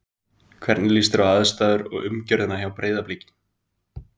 Hvernig líst þér á aðstæður og umgjörðina hjá Breiðabliki?